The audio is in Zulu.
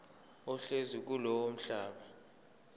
ohlezi kulowo mhlaba